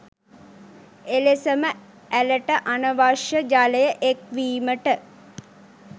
එලෙසම ඇළට අනවශ්‍ය ජලය එක්වීමට